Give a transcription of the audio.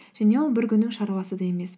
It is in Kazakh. және ол бір күннің шаруасы да емес